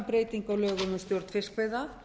lögum um stjórn fiskveiða